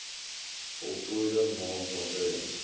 voltooide maand waartydens